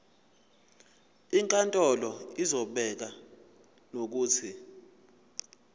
inkantolo izobeka nokuthi